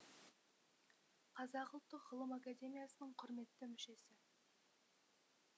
қазақ ұлттық ғылым академиясының құрметті мүшесі